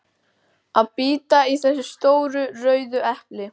að bíta í þessi stóru rauðu epli.